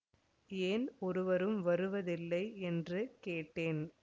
ஏன் ஒருவரும் வருவதில்லை என்று கேட்டேன்